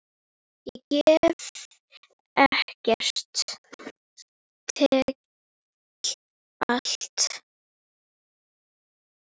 Ég gef ekkert, tek allt.